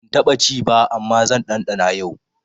Ban taɓa ci ba amma zan ɗanɗana yau.